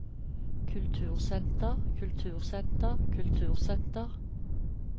kultursenter kultursenter kultursenter